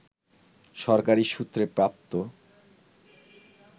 সরকারি সূত্রে প্রাপ্ত